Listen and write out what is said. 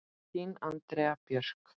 Þín Andrea Björk.